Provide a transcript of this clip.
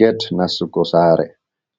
Get nastugo saare,